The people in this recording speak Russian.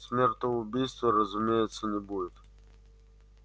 смертоубийства разумеется не будет